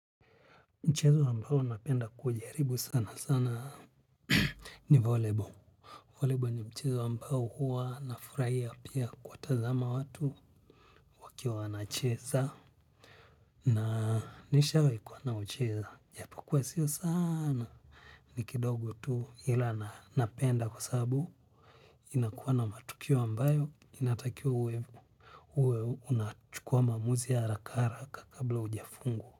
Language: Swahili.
Mchezo ambao napenda kuujaribu sana sana ni valley ball Valley ball ni mchezo ambao huwa na furahia pia kuwatazama watu wakiwa wana cheza. Na nishawahi kuwa naucheza. Japokua sio sana ni kidogo tu ila na napenda kwasabu inakuwa na matukio ambayo inatakiwa uwe uwe unachukua mamuzi ya harakara haraka kabla hujafungwa.